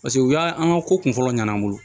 Paseke u y'a an ka ko kun fɔlɔ ɲana an bolo